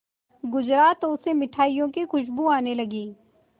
गुजरा तो उसे मिठाइयों की खुशबू आने लगी